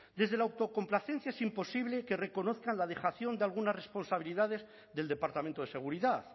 desde la autocomplacencia es imposible que reconozcan la dejación de algunas responsabilidades del departamento de seguridad